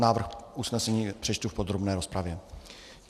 Návrh usnesení přečtu v podrobné rozpravě.